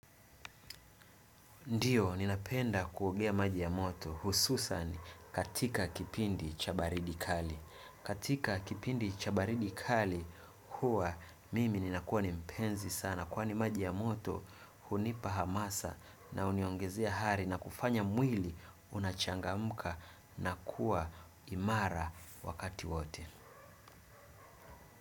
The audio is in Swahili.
Ndiyo, ninapenda kuogea maji ya moto hususani katika kipindi cha baridi kali. Katika kipindi cha baridi kali huwa mimi ninakuwa ni mpenzi sana. Kwani maji ya moto hunipa hamasa na uniongezea hari na kufanya mwili unachangamuka na kuwa imara wakati wote.